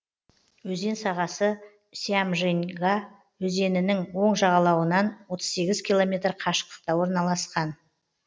өзен сағасы сямженьга өзенінің оң жағалауынан отыз сегіз километр қашықтықта орналасқан